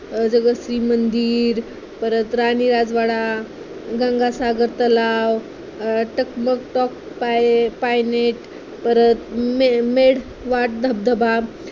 अं जगदीश्वर मंदिर, परत राणी राजवाडा, गंगासागर तलाव, अं टकमक टोक पाय point परत मढे घाट धबधबा